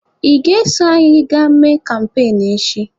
Ị ga-eso anyị gaa mee kampain echi!